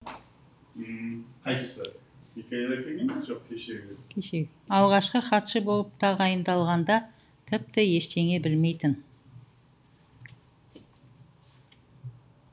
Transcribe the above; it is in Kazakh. алғашқы хатшы болып тағайындалғанда тіпті ештеңе білмейтін